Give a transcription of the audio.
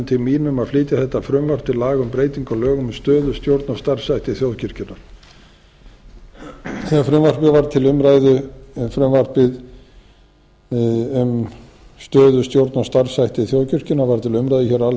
til mín að flytja þetta frumvarp til laga um breytingu á lögum um stöðu stjórn og starfshætti þjóðkirkjunnar þegar frumvarpið um stöðu stjórn og starfshætti þjóðkirkjunnar var til umræðu hér á